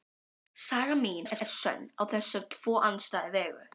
Saga mín er sönn á þessa tvo andstæðu vegu.